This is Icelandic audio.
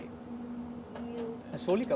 jú svo líka